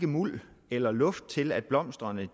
muld eller luft til at blomsterne